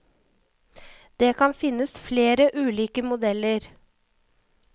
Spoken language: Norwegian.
Det kan finnes flere ulike modeller.